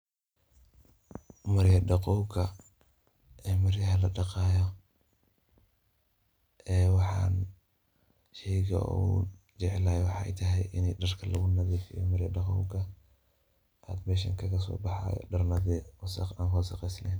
Marya daqowka ee maryaha ladaqaayo ee waxan sheeyga oo ila waxathay ini daarka lagu nathrfeeyoh marya daqowka AA meshan kagaka sobaxaayo daar wassq laheen.